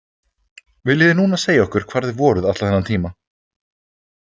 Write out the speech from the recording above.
Viljið þið núna segja okkur hvar þið voruð allan þennan tíma?